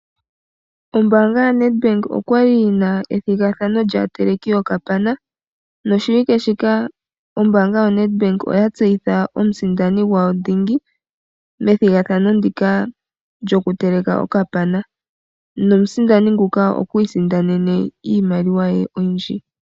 Ombanga yaNedbank okwali yina ethigathano lyateleki yokapana noshiwike shika ombanga yaNedbank oya tseyitha omusindani gawo dhingi methigathano ndika lyoku teleka okapana. Omusindani nguka okwi isindanena iimaliwa ye oyindji.